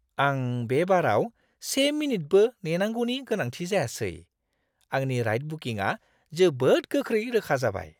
आं बे बाराव से मिनिटबो नेनांगौनि गोनांथि जायासै। आंनि राइड बुकिंआ जोबोद गोख्रै रोखा जाबाय!